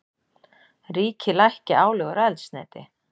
Ríkið lækki álögur á eldsneyti